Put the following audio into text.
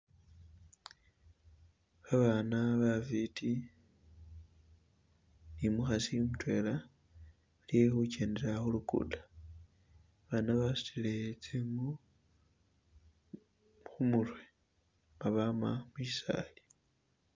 Babana bafiti nimukhasi mutwela balikhukyendela khulukudo, babana basutile tsingu khu' murwe ngabama mushisali